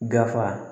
Dafa